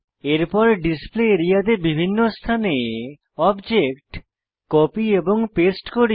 এরপর display area তে বিভিন্ন স্থানে অবজেক্ট কপি এবং পেস্ট করি